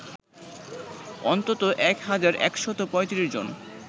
অন্তত ১ হাজার ১৩৫ জন